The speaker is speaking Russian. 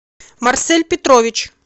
марсель петрович